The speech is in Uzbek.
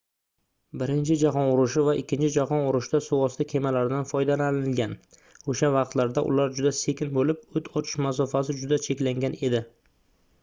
birinchi jahon urushi va ikkinchi jahon urushida suvosti kemalaridan foydalanilgan oʻsha vaqtlarda ular juda sekin boʻlib oʻt ochish masofasi juda cheklangan edi